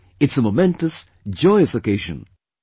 It's a momentous, joyous occasion"